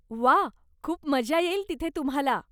व्वा! खूप मजा येईल तिथे तुम्हाला.